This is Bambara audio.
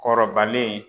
Kɔrɔbalen